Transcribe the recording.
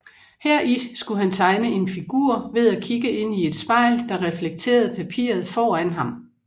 Heri skulle han tegne en figur ved at kigge ind i et spejl der reflekterede papiret foran ham